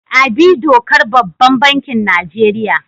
Abi dokar babban bankin Nigeria.